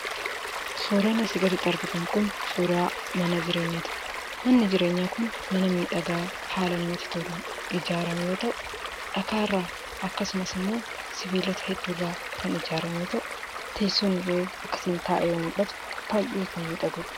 Suuraan asii gaditti argitan kun suuraa mana jireenyaa ti. Manni jireenyaa kun mana miidhagaa haala namatti toluun ijaarame yoo ta'u, dhakaa irraa akkasumas immoo sibiilota hedduu irraa kan ijaarame yoo ta'u, teessoon illee akkasiin taa'ee yoo mul'atu baay'ee kan miidhaguu dha.